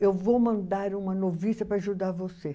Eu vou mandar uma noviça para ajudar você.